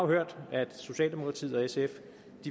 hørt at socialdemokratiet og sf